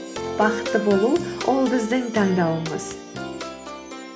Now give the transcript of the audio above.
бақытты болу ол біздің таңдауымыз